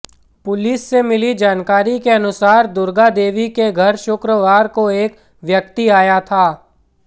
police से मिली जानकारी के अनुसार दुर्गादेवी के घर शुक्रवार को एक व्यक्ति आया था